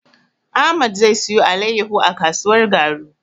Ahmad zai siyo alaiyahu a kasuwar Garu.